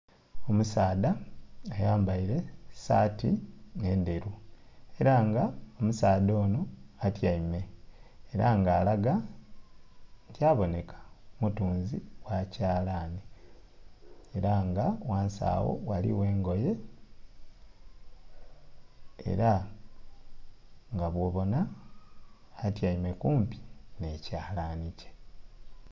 Omusaadha ayambaire saati enderu era nga omusaadha ono atyaime era nga alaga nti aboneka mutunzi wa kyalani. Era nga ghansi awo waliwo engoye era nga bwobona atyaime kumpi n'ekyalani kye.